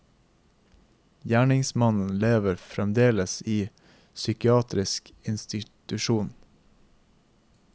Gjerningsmannen lever fremdeles i psykiatrisk institusjon.